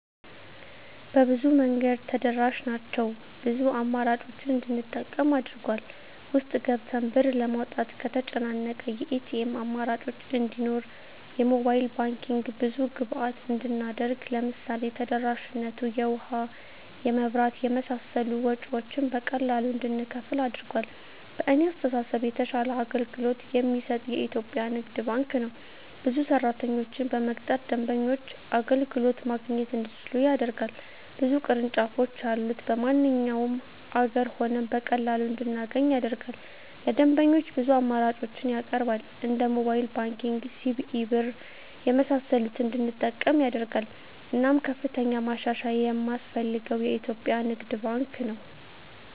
በብዙ መንገድ ተደራሽ ናቸው ብዙ አማራጮችን እንድንጠቀም አድርጎል። ውስጥ ገብተን ብር ለማውጣት ከተጨናነቀ የኤቲኤም አማራጮች እንዲኖር የሞባይል ባንኪንግ ብዙ ግብይት እንድናደርግ ለምሳሌ ተደራሽነቱ የውሀ, የመብራት የመሳሰሉ ወጭወችን በቀላሉ እንድንከፍል አድርጓል። በእኔ አስተሳሰብ የተሻለ አገልግሎት የሚሰጥ የኢትዪጵያ ንግድ ባንክ ነው። ብዙ ሰራተኞችን በመቅጠር ደንበኞች አገልግሎት ማግኘት እንዲችሉ ያደርጋል። ብዙ ቅርንጫፎች ያሉት በማንኛውም አገር ሆነን በቀላሉ እንድናገኝ ያደርጋል። ለደንበኞች ብዙ አማራጮችን ያቀርባል እንደ ሞባይል ባንኪንግ, ሲቢኢ ብር , የመሳሰሉትን እንድንጠቀም ያደርጋል። እናም ከፍተኛ ማሻሻያ የማስፈልገው የኢትዮጵያ ንግድ ባንክ ነው።